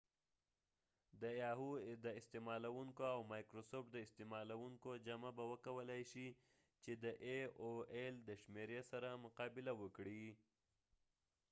د یاهو د استعمالوونکو او مایکرسافت د استعمالوونکو جمع به وکولای شي چې د ای او ایل د شمیری سره مقا بله وکړي